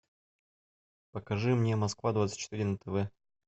покажи мне москва двадцать четыре на тв